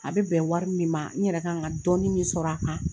A bɛ bɛn wari min ma n yɛrɛ ka kan ka dɔɔnin min sɔrɔ a kan